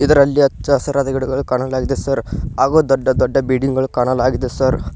ಇದರಲ್ಲಿ ಹಚ್ಚ ಹಸಿರಾದ ಗಿಡಗಳು ಕಾಣಲಾಗಿದೆ ಸರ್ ಹಾಗೂ ದೊಡ್ಡ ದೊಡ್ಡ ಬಿಲ್ಡಿಂಗ್ ಗಳು ಕಾಣಲಾಗಿದೆ ಸರ್ .